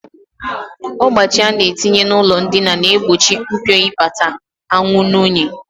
Ọgbachi a na-etinye n'ụlọndina na-egbochi mpiobata anwụ na unyi